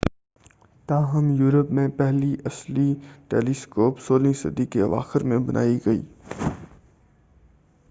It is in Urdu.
تاہم یورپ میں پہلی اصلی ٹیلیسکوپ سولہویں صدی کے اواخر میں بنائی گئی